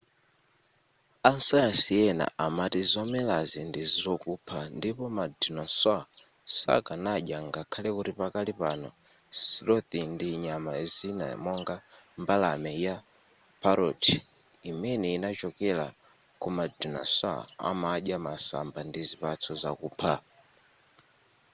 asayansi ena amati zomelazi ndizokupha ndipo ma dinosaur sakanadya ngakhale kuti pakali pano sloth ndi nyama zina monga mbalame ya parrot imene inachokela kuma dinosaur amadya masamba ndi zipatso zokupha